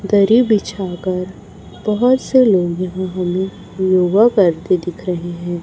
दरी बिछा कर बहुत से लोग यहां हमे योगा करते दिख रहे हैं।